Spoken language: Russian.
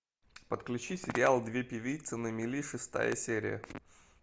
подключи сериал две певицы на мели шестая серия